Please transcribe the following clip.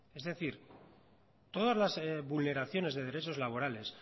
es decir todas las vulneraciones de derechos laborales